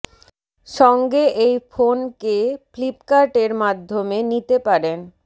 সঙ্গে এই ফোন কে ফ্লিপ্কার্ট এর মাধ্যমে নিতে পারেন